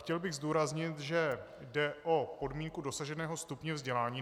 Chtěl bych zdůraznit, že jde o podmínku dosaženého stupně vzdělání.